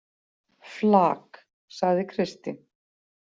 Flak, sagði Kristín.